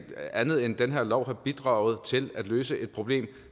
andet end at den her lov har bidraget til at løse et problem